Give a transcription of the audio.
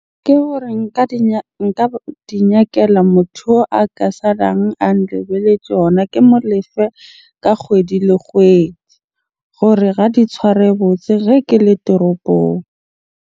Ke hore nka nka di nyakela motho oo a ka salang a nlebetje yona. Ke mo lefe ka kgwedi le kgwedi gore di tshware botse ge ke le toropong.